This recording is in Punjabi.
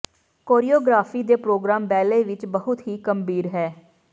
ਕੋਰੀਓਗ੍ਰਾਫੀ ਦੇ ਪ੍ਰੋਗਰਾਮ ਬੈਲੇ ਵਿੱਚ ਬਹੁਤ ਹੀ ਗੰਭੀਰ ਹੈ